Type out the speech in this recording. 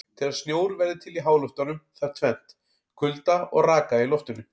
Til að snjór verði til í háloftunum þarf tvennt: Kulda og raka í loftinu.